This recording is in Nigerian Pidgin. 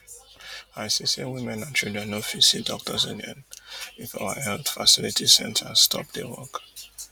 i see say women and children no fit see doctors again if our health facility centre stop dey work